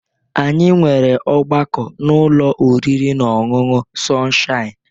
Anyị nwere ọgbakọ n'ụlọ oriri na ọṅụṅụ Sọnshaịn